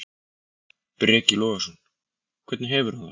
Breki Logason: Hvernig hefur hann það?